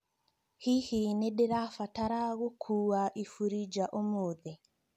Hihi nĩ ndĩrabatara ngũkua ibũri nja ũmũthĩ?